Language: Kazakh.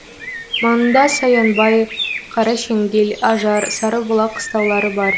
маңында саянбай қарашеңгел ажар сарыбұлақ қыстаулары бар